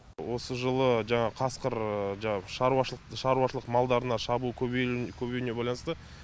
осы жылы жаңағы қасқыр жаңағы шаруашылық шаруашылық малдарына шабуылы көбеюіне байланысты